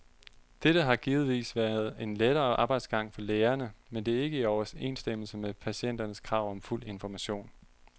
Dette har givetvis været en lettere arbejdsgang for lægerne, men det er ikke i overensstemmelse med patienternes krav om fuld information.